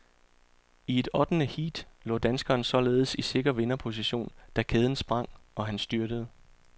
I et ottende heat lå danskeren således i sikker vinderposition, da kæden sprang, og han styrtede.